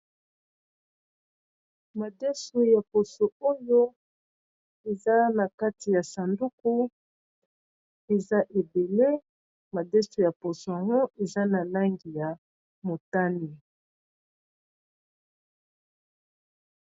Madesu ya poso oyo eza na kati ya sanduku eza ebele madeso ya poso yango eza na langi ya motani.